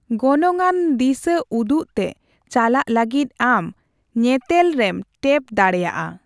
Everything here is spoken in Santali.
ᱜᱚᱱᱚᱝᱟᱱ ᱫᱤᱥᱟᱹᱩᱫᱩᱜ ᱛᱮ ᱪᱟᱞᱟᱜ ᱞᱟᱹᱜᱤᱫ ᱟᱢ ᱧᱮᱛᱮᱞ ᱨᱮᱢ ᱴᱮᱯ ᱫᱟᱲᱮᱭᱟᱜᱼᱟ ᱾